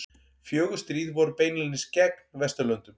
Fjögur stríð voru beinlínis gegn Vesturlöndum.